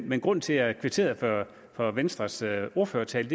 men grunden til at jeg kvitterede for for venstres ordførertale